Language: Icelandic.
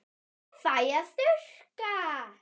Ég fæ að þurrka.